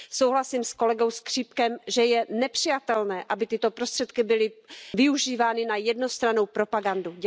Souhlasím s kolegou Škripkem, že je nepřijatelné, aby tyto prostředky byly využívány na jednostrannou propagandu.